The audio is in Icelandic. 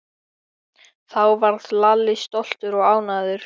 Þá varð Lalli stoltur og ánægður.